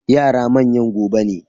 Yara manyan gobe ne.